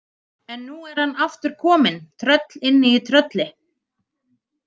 En nú er hann aftur kominn, tröll inni í trölli.